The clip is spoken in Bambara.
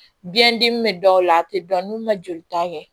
Biyɛn dimi bɛ dɔw la a tɛ dɔn n'u ma jolita kɛ